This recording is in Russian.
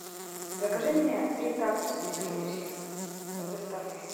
закажи мне три такос из кей эф си с доставкой